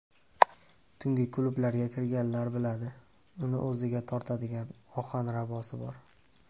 Tungi klublarga kirganlar biladi, uni o‘ziga tortadigan ohanrabosi bor.